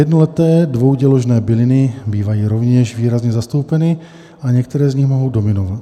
Jednoleté dvouděložné byliny bývají rovněž výrazně zastoupeny a některé z nich mohou dominovat.